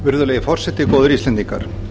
virðulegi forseti góðir íslendingar